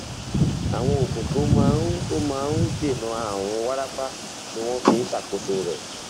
àwọn oògùn tó máa ń tó máa ń dènà ààrùn wárápá ni wọn fi ń ṣàkóso rẹ